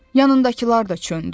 Yanındakılar da çöndü.